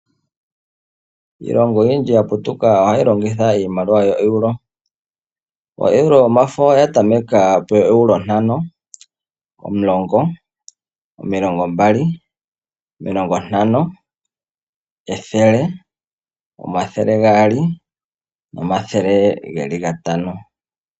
Iilongo oyindji oya putuka hayi longitha iimaliwa yo Euro . O Euro yomafo oya tameka peEuro ntano ,omulongo, omilongo mbali, omilongo ntano, ethele, omathele gaali nomathele gatano.